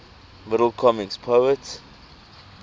middle comic poets